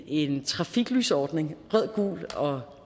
en trafiklysordning rød gul og